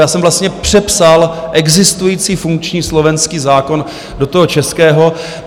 Já jsem vlastně přepsal existující funkční slovenský zákon do toho českého.